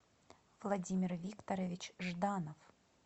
владимир викторович жданов